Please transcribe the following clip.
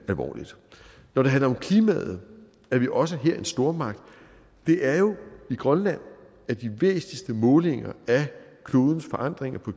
alvorligt når det handler om klimaet er vi også her en stormagt det er jo i grønland at de væsentligste målinger af klodens forandringer på